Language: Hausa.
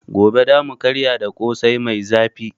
Gobe za mu karya da Ƙosai mai zafi.